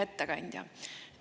Hea ettekandja!